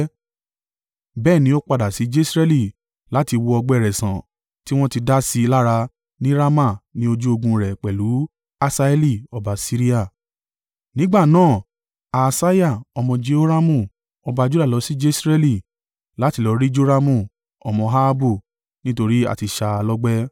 bẹ́ẹ̀ ni ó padà sí Jesreeli láti wo ọgbẹ́ rẹ̀ sàn tí wọ́n ti dá sí i lára ní Rama ní ojú ogun rẹ̀ pẹ̀lú Hasaeli ọba Siria. Nígbà náà, Ahasiah, ọmọ Jehoramu ọba Juda lọ sí Jesreeli láti lọ rí Joramu ọmọ Ahabu nítorí a ti ṣá a lọ́gbẹ́.